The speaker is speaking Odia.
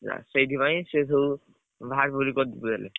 ସେଇଥି ପାଇଁ ସିଏ ସବୁ କରିପାଇଲେ।